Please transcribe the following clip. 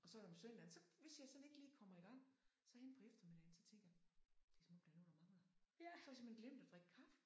Og så om søndagen så hvis jeg sådan ikke lige kommer igang så hen på eftermiddagen så tænker jeg det som om der er noget der mangler så har jeg simpelthen glemt at drikke kaffe